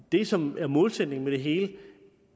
det som er målsætningen for det hele